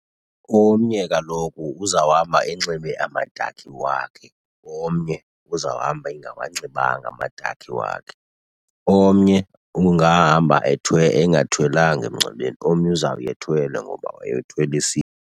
Omnye kaloku uzawuhamba enxibe amadakhi wakhe, omnye uzawuhamba engawanxibanga amadakhi wakhe. Omnye ungahamba engathwelanga emngcwabeni, omnye uzawuya ethwele ngoba wayethwelisiwe.